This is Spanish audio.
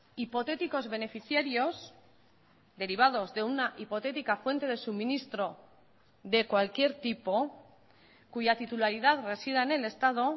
hipotéticos beneficiarios derivados de una hipotética fuente de suministro de cualquier tipo cuya titularidad resida en el estado